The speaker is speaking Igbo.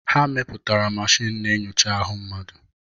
Ha mepụtara mashin na-enyocha ahụ mmadụ.